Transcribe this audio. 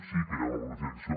sí que hi ha una planificació